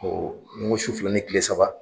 Ɔ nin ko sufi ni kile saba.